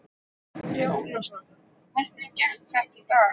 Andri Ólafsson: Hvernig gekk þetta í dag?